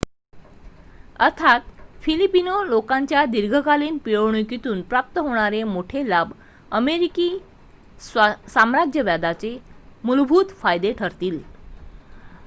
अर्थात फिलिपिनो लोकांच्या दिर्घकालीन पिळवणुकीतून प्राप्त होणारे मोठे लाभ अमेरिकी साम्राज्यवादाचे मूलभूत फायदे ठरतील